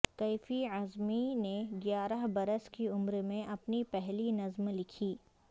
کیفی اعظمی نے گیارہ برس کی عمر میں اپنی پہلی نظم لکھی